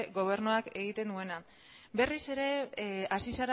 gobernuak egiten duena berriz ere hasi